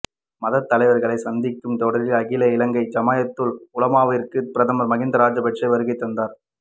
மதத்தலைவர்களை சந்திக்கும் தொடரில் அகில இலங்கை ஜம்இய்யத்துல் உலமாவிற்கு பிரதமர் மஹிந்த ராஜபக்ஷ வருகை தந்தார்